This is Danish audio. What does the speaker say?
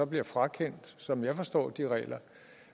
bliver frakendt som jeg forstår de regler